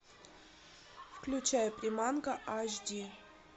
включай приманка аш ди